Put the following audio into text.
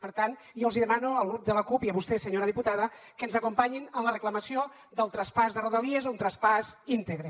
per tant jo els hi demano al grup de la cup i a vostè senyora diputada que ens acompanyin en la reclamació del traspàs de rodalies un traspàs íntegre